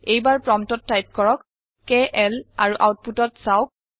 এইবাৰ প্ৰম্পটত টাইপ কৰক কেএল আৰু আওতপুতত চাওক